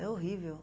É horrível.